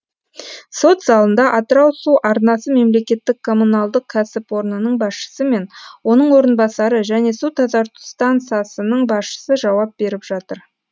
сот залында атырау су арнасы мемлекеттік коммуналдық кәсіпорнының басшысы мен оның орынбасары және су тазарту станциясының басшысы жауап беріп жатыр